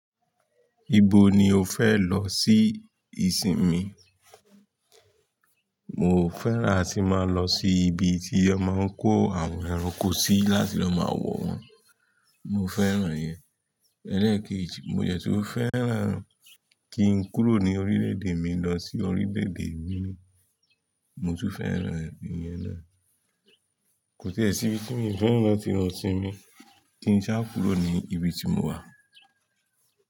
Ibo ni o fẹ lọ sí ìsinmi? Mo fẹ́ràn ti ma lọ sí ibi tí wọ́n máa ń kó àwọn ẹranko sí láti lọ máa wọ̀ wọ́n. Mo fẹ́ràn yẹn. Ẹlẹ́ẹ̀kejì, mo dẹ́ ṣó fẹ́ràn kí n kúrò ní orílẹ̀-èdè mi lọ sí orílẹ̀-èdè mìíràn. Mo tú fẹ́ràn iyẹn naa. Kò ti ẹ́ sí ibi tí mi fẹ́ràn láti lọ sinmi kí n ṣá kúrò ní ibi ti mo wà.